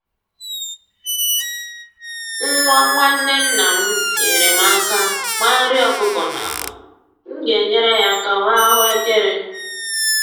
Nwa nwanne nna m nyeere m aka gbaa nri ọkụkọ n'akpa, m ga-enyere ya aka wee ahụekere